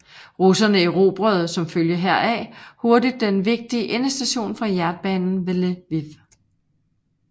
Russerne erobrede som følge heraf hurtigt den vigtige endestation for jernbanen ved Lviv